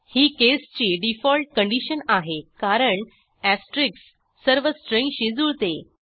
ही केसची default condition आहे कारण एस्टेरिस्क सर्व स्ट्रिंग्जशी जुळते